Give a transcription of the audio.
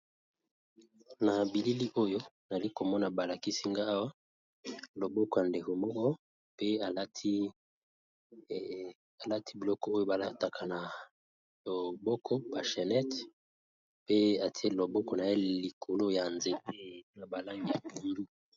Nabilili oyo nazalikomona balakisinga loboko yandeko moko pe alati biloko balataka na loboko ba chenette pe atiye loboko naye likolo ya nzete ya balangi bonzinga.